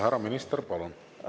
Härra minister, palun!